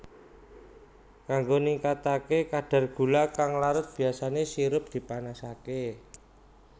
Kanggo ningkataké kadhar gula kang larut biyasané sirup dipanasaké